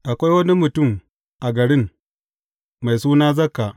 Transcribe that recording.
Akwai wani mutum a garin, mai suna Zakka.